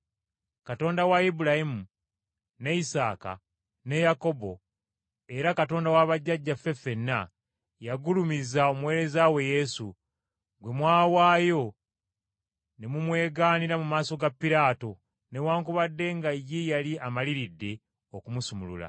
Katonda wa Ibulayimu, ne Isaaka, ne Yakobo, era Katonda wa bajjajjaffe ffenna yagulumiza omuweereza we Yesu, gwe mwawaayo ne mu mwegaanira mu maaso ga Piraato newaakubadde nga ye yali amaliridde okumusumulula,